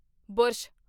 brush